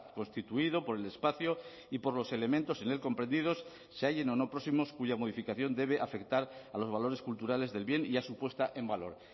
constituido por el espacio y por los elementos en él comprendidos se hallen o no próximos cuya modificación debe afectar a los valores culturales del bien y a su puesta en valor